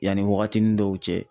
Yanni wagatini dɔw cɛ